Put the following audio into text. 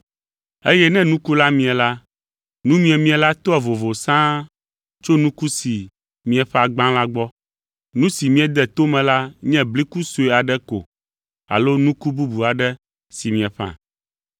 Eye ne nuku la mie la, nu miemie la toa vovo sãa tso nuku si mieƒã gbã la gbɔ. Nu si miede to me la nye bliku sue aɖe ko alo nuku bubu aɖe si mieƒã.